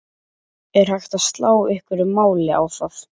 Er hægt að slá einhverju máli á það?